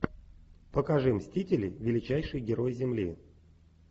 покажи мстители величайший герой земли